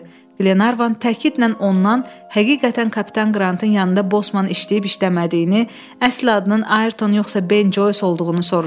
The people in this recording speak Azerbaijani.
Qlenarvan təkidlə ondan həqiqətən kapitan Qrantın yanında Bosman işləyib işləmədiyini, əsl adının Ayrton yoxsa Ben Joyce olduğunu soruşdu.